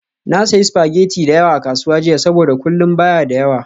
Na sayi spaghetti da yawa a kasuwa jiya saboda kullun ba ya da yawa.